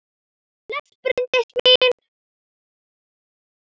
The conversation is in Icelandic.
Bless, Bryndís mín!